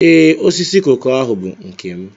Ee, osisi koko ahu bụ nke m